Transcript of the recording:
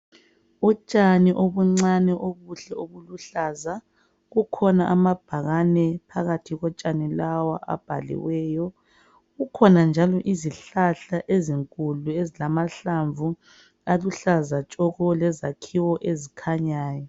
Utshani obuncane obuhle obuluhlaza kukhona amabhakane phakathi kotshani lawa abhaliweyo kukhona njalo izihlahla ezinkulu ezilamahlamvu aluhlaza tshoko lezakhiwo ezikhanyayo.